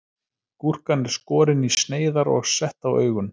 Gúrkan er skorin í sneiðar og sett á augun.